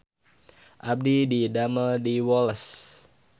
Abdi didamel di Woles